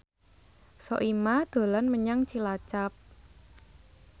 Soimah dolan menyang Cilacap